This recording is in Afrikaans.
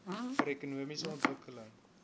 vir ekonomiese ontwikkeling